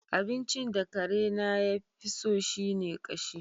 Abincin da karena ya fi so shi ne ƙashi.